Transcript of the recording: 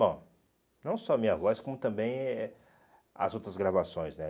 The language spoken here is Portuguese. Bom, não só a minha voz, como também eh as outras gravações, né?